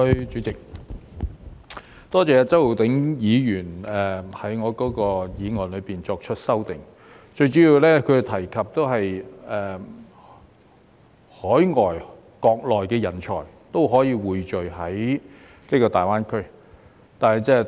主席，多謝周浩鼎議員就我的議案作出修訂，他最主要是提及匯聚海外和國內的人才在大灣區。